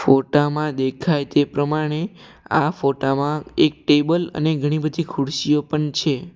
ફોટામાં દેખાય તે પ્રમાણે આ ફોટામાં એક ટેબલ અને ઘણી બધી ખુરશીઓ પણ છે.